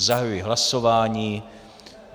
Zahajuji hlasování.